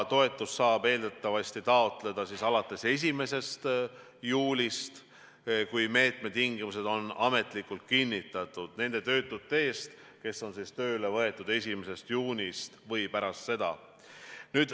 Toetust saab eeldatavasti taotleda alates 1. juulist, kui meetme tingimused on ametlikult kinnitatud, nende töötute eest, kes on tööle võetud 1. juunist või pärast seda.